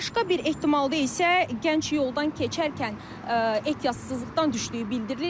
Başqa bir ehtimalda isə gənc yoldan keçərkən ehtiyatsızlıqdan düşdüyü bildirilir.